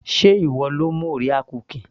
sé ìwọ lo mú orea cookies